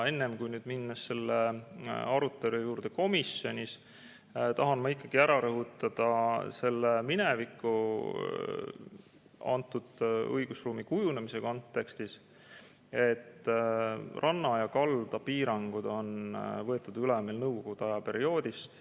Enne, kui minna komisjonis toimunud arutelu juurde, tahan ma ikkagi rõhutada õigusruumi kunagise kujunemise kontekstis, et ranna- ja kaldapiirangud on meil üle võetud Nõukogude aja perioodist.